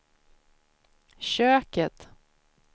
köket